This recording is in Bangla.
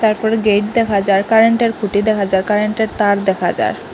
তারপরে গেইট দেখা যার কারেন্টের খুঁটি দেখা যার কারেন্টের তার দেখা যার।